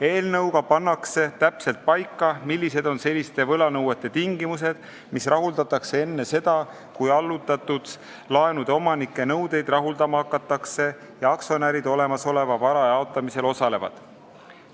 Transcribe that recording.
Eelnõuga pannakse täpselt paika selliste võlanõuete tingimused, mis rahuldatakse enne seda, kui hakatakse rahuldama allutatud laenude omanike nõudeid ja kui aktsionärid olemasoleva vara jaotamisel osalevad.